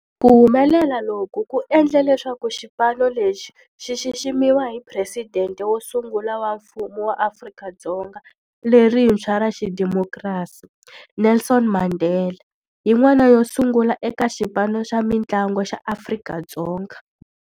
Ku humelela loku ku endle leswaku xipano lexi xi xiximiwa hi Presidente wo sungula wa Mfumo wa Afrika-Dzonga lerintshwa ra xidemokirasi, Nelson Mandela, yin'wana yo sungula eka xipano xa mintlangu xa Afrika-Dzonga.